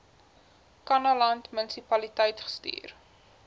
kannaland munisipaliteit gestuur